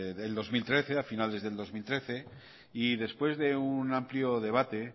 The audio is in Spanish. del dos mil trece a finales del dos mil trece y después de un amplio debate